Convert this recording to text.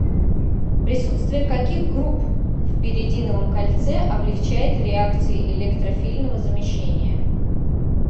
присутствие каких групп в пиридиновом кольце облегчает реакции электрофильного замещения